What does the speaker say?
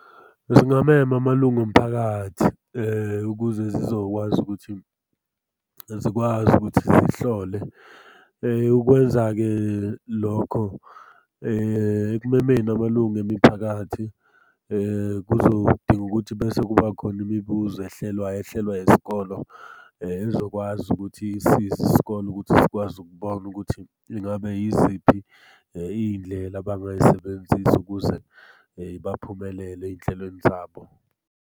Zingamema amalunga omphakathi ukuze zizokwazi ukuthi zikwazi ukuthi zihlole. Ukwenza-ke lokho ekumemeni amalunga emiphakathi, kuzodinga ukuthi bese kuba khona imibuzo ehlelwayo ehlelwa yesikolo, ezokwazi ukuthi isize isikole ukuthi sikwazi ukubona ukuthi ingabe yiziphi iy'ndlela abangay'sebenzisa ukuze baphumelele ey'nhlelweni zabo.